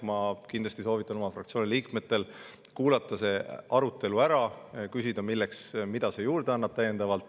Ma kindlasti soovitan oma fraktsiooni liikmetel kuulata see arutelu ära ja küsida, mida see juurde annab.